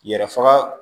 Yɛrɛ faga